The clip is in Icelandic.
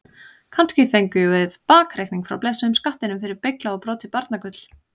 Kannski fengjum við bakreikning frá blessuðum skattinum fyrir beyglað og brotið barnagull?